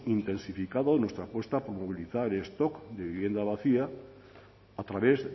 intensificado nuestra apuesta por movilizar el stock de vivienda vacía a través